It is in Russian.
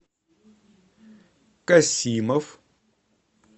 касимов